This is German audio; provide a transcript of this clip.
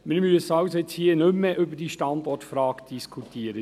Jetzt müssen wir also hier nicht mehr über die Standortfrage diskutieren;